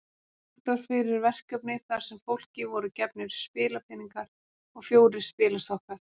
Lagt var fyrir verkefni þar sem fólki voru gefnir spilapeningar og fjórir spilastokkar.